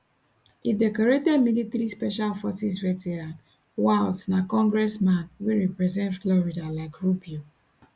a decorated military special forces veteran waltz na congressman wey represent florida like rubio